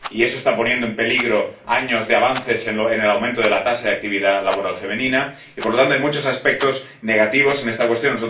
y eso está poniendo en peligro años de avances en el aumento de la tasa de actividad laboral femenina y, por lo tanto, hay muchos aspectos negativos en esta cuestión.